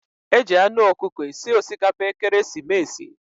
Eji anu ọkụkọ esi osikapa ekeresimesi.